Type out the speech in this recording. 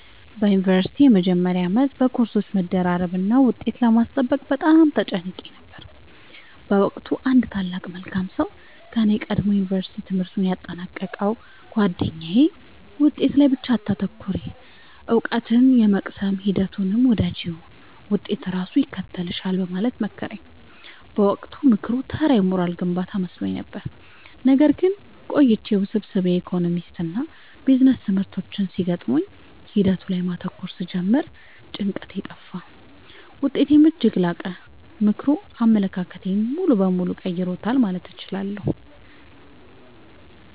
በዩኒቨርሲቲ መጀመሪያ ዓመት በኮርሶች መደራረብና ውጤት ለማስጠበቅ በጣም ተጨንቄ ነበር። በወቅቱ አንድ ታላቅ መልካም ሰው ከኔ ቀድሞ የዩንቨርስቲ ትምህርቱን ያጠናቀቀው ጉአደኛዬ «ውጤት ላይ ብቻ አታተኩሪ: እውቀትን የመቅሰም ሂደቱን ውደጂው፣ ውጤት ራሱ ይከተልሻል» በማለት መከረኝ። በወቅቱ ምክሩ ተራ የሞራል ግንባታ መስሎኝ ነበር። ነገር ግን ቆይቼ ውስብስብ የኢኮኖሚክስና ቢዝነስ ትምህርቶች ሲገጥሙኝ ሂደቱ ላይ ማተኮር ስጀምር ጭንቀቴ ጠፋ: ውጤቴም እጅግ ላቀ። ምክሩ አመለካከቴን ሙሉ በሙሉ ቀይሮታል ማለት እችላለሁ።